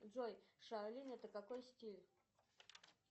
джой шаолинь это какой стиль